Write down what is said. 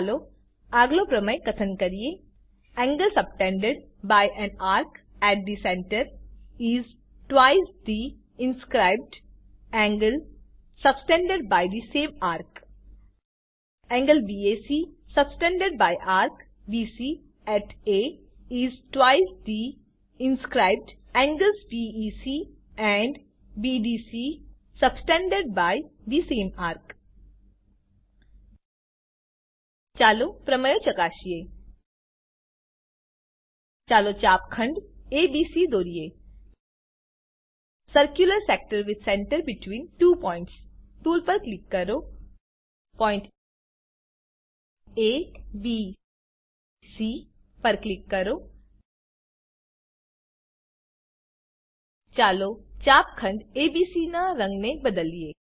ચાલો આગલો પ્રમેય કથન કરીએ angle subtended by an arc at the centre is twice the inscribed angles subtended by the same arc angle back subtended by arc BC at A is twice the inscribed angles BEC and BDC subtended by the same arc ચાલો પ્રમેય ચકાસીએ ચાલો ચાપખંડ ABC દોરીએ circular sector with centre between two points tool પર click કરો point A B C પર click કરો ચાલો ચાપખંડ એબીસી નાં રંગને બદલીએ